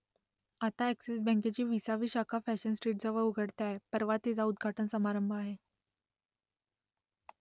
आता अ‍ॅक्सिस बँकेची विसावी शाखा फॅशन स्ट्रीटजवळ उघडते आहे परवा तिचा उद्घाटन समारंभ आहे